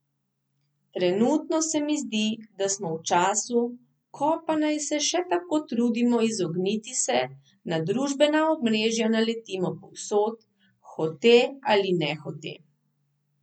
Trenutno se mi zdi, da smo v času, ko, pa naj se še tako trudimo izogniti se, na družbena omrežja naletimo povsod, hote ali nehote.